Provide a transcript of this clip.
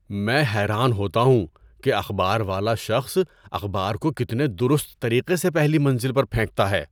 میں حیران ہوتا ہوں کہ اخبار والا شخص اخبار کو کتنے درست طریقے سے پہلی منزل پر پھینکتا ہے۔